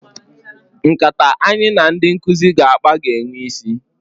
Nkata anyị na ndị nkụzi ga-akpa ga-enwe isi.